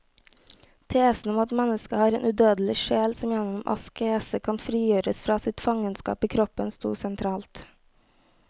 Tesen om at mennesket har en udødelig sjel som gjennom askese kan frigjøres fra sitt fangenskap i kroppen, stod sentralt.